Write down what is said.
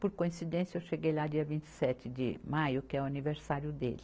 Por coincidência, eu cheguei lá dia vinte e sete de maio, que é o aniversário dele.